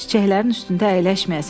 Çiçəklərin üstündə əyləşməyəsən.